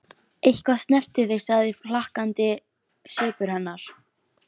Og ég spyr hvar er Fjármálaeftirlitið, hvar er Samkeppniseftirlitið?